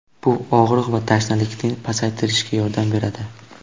Bu og‘riq va tashnalikni pasaytirishga yordam beradi.